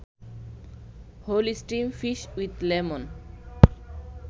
whole steam fish with lemon